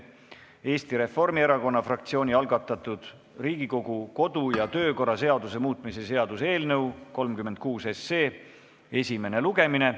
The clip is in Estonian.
Eesti Reformierakonna fraktsiooni algatatud Riigikogu kodu- ja töökorra seaduse muutmise seaduse eelnõu 36 esimene lugemine.